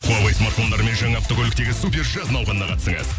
хуавей смартфондарымен жаңа автокөліктегі супер жаз науқанына қатысыңыз